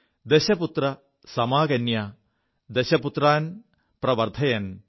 ദശപുത്ര സമാകന്യാ ദശപുത്രാൻ പ്രവർധയൻ